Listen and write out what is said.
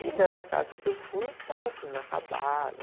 E nessa casa que eu fui, estava assim, inacabada.